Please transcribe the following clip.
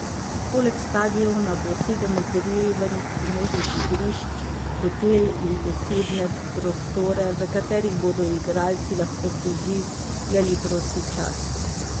Poleg stadiona bo sedem ogrevanih pomožnih igrišč, hotel in posebne prostore, v katerih bodo igralci lahko preživljali prosti čas.